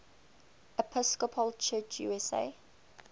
episcopal church usa